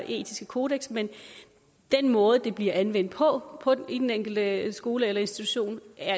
etiske kodeks men den måde det bliver anvendt på på den enkelte skole eller institution